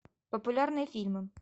популярные фильмы